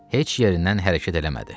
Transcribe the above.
Heç yerindən hərəkət eləmədi.